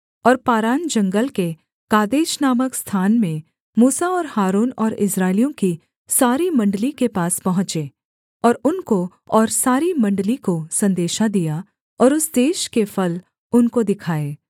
और पारान जंगल के कादेश नामक स्थान में मूसा और हारून और इस्राएलियों की सारी मण्डली के पास पहुँचे और उनको और सारी मण्डली को सन्देशा दिया और उस देश के फल उनको दिखाए